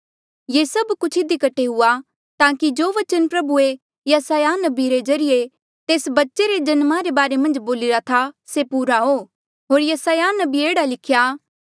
ये सब कुछ इधी कठे हुआ ताकि जो बचन प्रभुऐ यसायाह नबिया रे ज्रीए तेस बच्चे रे जन्मा रे बारे मन्झ बोलिरा था से पूरा हो होर यसायाह नबिये ने एह्ड़ा लिख्या